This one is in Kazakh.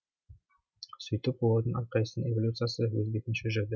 сөйтіп олардың әрқайсысының эволюциясы өз бетінше жүрді